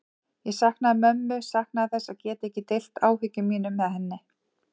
Ég saknaði mömmu, saknaði þess að geta ekki deilt áhyggjum mínum með henni.